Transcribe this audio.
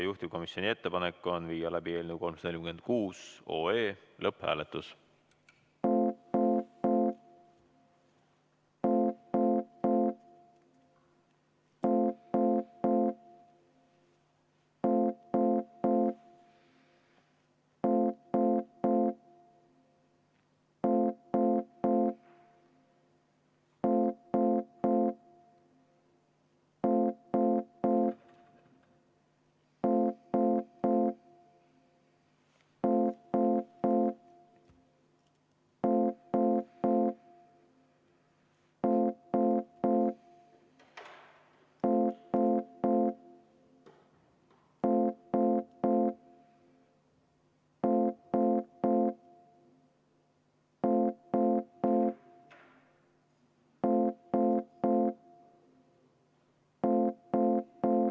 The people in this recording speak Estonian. Juhtivkomisjoni ettepanek on viia läbi eelnõu 346 lõpphääletus.